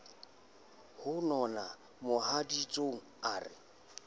ho nona mohaditsong a re